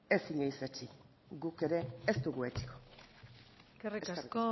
ez inoiz etsi guk ere ez dugu etsiko eskerrik asko